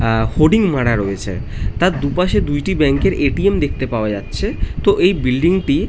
আ- ফডিং মারা রয়েছে তার দুই পাশে দুইটি ব্যাঙ্ক এর এ. টি.এম. দেখতে পাওয়া যাচ্ছে তো এই বিল্ডিং টি।